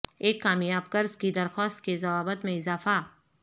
ایک کامیاب قرض کی درخواست کے ضوابط میں اضافہ